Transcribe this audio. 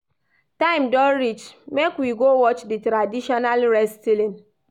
Time don reach, make we go watch di traditional wrestling.